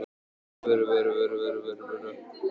Best ég hringi upp á fæðingardeild og panti pláss!